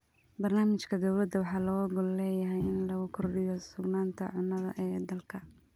Barnaamijka dowladda waxaa looga gol leeyahay in lagu kordhiyo sugnaanta cunnada ee dalka.